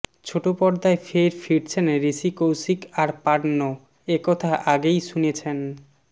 ছোটপর্দায় ফের ফিরছেন ঋষি কৌশিক আর পার্নো একথা আগেই শুনেছেন